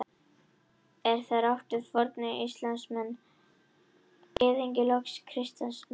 Er þar átt við hina fornu Ísraelsmenn, Gyðinga og loks kristna menn.